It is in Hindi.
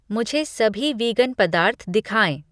मुझे सभी वीगन पदार्थ दिखाएँ।